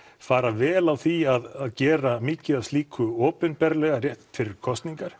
fara vel á því að gera mikið af slíku opinberlega rétt fyrir kosningar